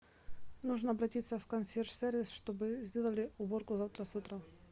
нужно обратиться в консьерж сервис чтобы сделали уборку завтра с утра